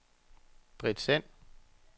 Britt Sand